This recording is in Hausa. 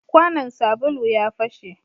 Kwanan sabulu ya fashe